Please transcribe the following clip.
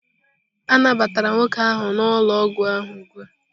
A nabatara nwoke ahụ n'ụlọ ọgwụ ahụ ugbu a.